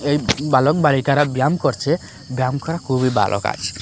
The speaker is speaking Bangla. এই বালক বালিকারা ব্যায়াম করছে ব্যায়াম করা খুবই ভালো কাজ।